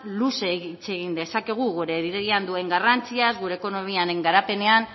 luze hitz egin dezakegu gure duen garrantziaz gure ekonomiaren garapenean